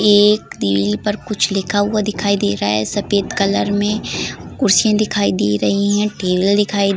एक पर कुछ लिखा हुआ दिखाई दे रहा है सफेद कलर में कुर्सियाँ दिखाई दे रही है टेबल दिखाई --